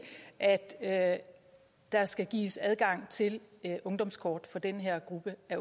at der skal gives adgang til ungdomskort for den her gruppe af